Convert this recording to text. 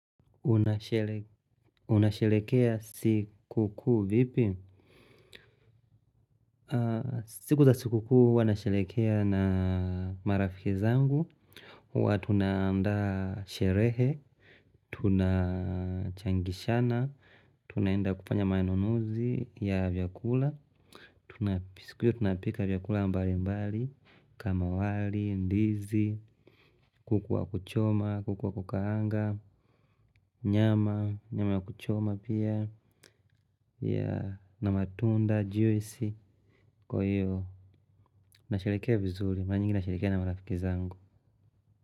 Unashelekea siku kuu vipi? Siku za siku kuu huwanasherekea na marafiki zangu huwa tunaandaa sherehe, tunachangishana, tunaenda kufanya manunuzi ya vyakula. Tunapika vyakula mbali mbali kama wali, ndizi, kuku wa kuchoma, kuku wa kukaanga nyama, nyama ya kuchoma pia. Na matunda, juisi. Kwa hiyo, na sherekea vizuri mara nyingi nasharekea na marafiki zangu.